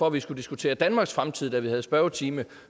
at vi skulle diskutere danmarks fremtid da vi havde spørgetime